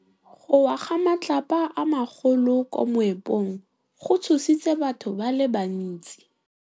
Go wa ga matlapa a magolo ko moepong go tshositse batho ba le bantsi.